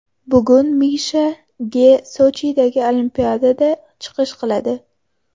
Bugun Misha Ge Sochidagi Olimpiadada chiqish qiladi.